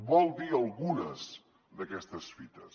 vol dir algunes d’aquestes fites